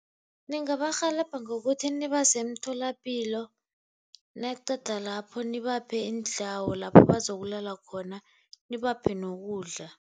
Ningabarhelebha ngokuthi nibase emtholapilo naqeda lapho nibaphe indawo lapho bazokulala khona, nibaphe nokudla.